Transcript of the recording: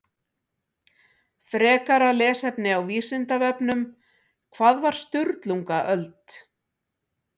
Frekara lesefni á Vísindavefnum Hvað var Sturlungaöld?